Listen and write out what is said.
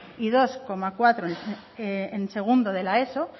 y dos coma cuatro en segundo de la eso